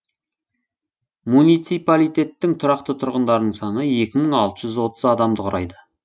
муниципалитеттің тұрақты тұрғындарының саны екі мың алты жүз отыз адамды құрайды